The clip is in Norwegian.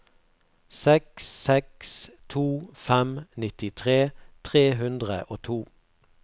seks seks to fem nittitre tre hundre og to